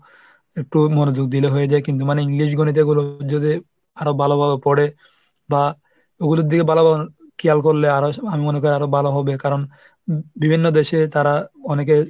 একটু মনোযোগ দিলে হয়ে যায়, কিন্তু মানে English গণিতে এগুলো যদি আরো ভালোভাবে পড়ে বা ওগুলোর দিকে ভালো খেয়াল করলে আরো এসব আমি মনে করি আরো ভালো হবে, কারণ বিভিন্ন দেশে তাঁরা অনেকে